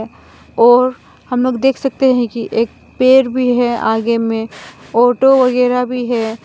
और हम लोग देख सकते हैं कि एक पेड़ भी है आगे में ऑटो वगैरा भी है।